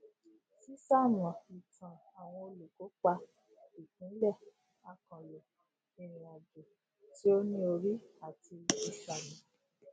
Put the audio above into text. ṣíṣamọ ìtàn àwọn olùkópa ìpínlẹ àkànlò ìrìnàjò tí ó ní orí àti ìsàlẹ